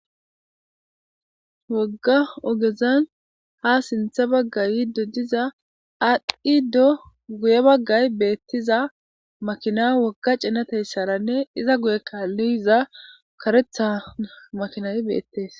Wogga ogezan ha sintha baggay yiddo diza adqiddo guye baggay beettiza makina wogga cinateyssaranne iza guye kaalluyiza karetha makinay beettees.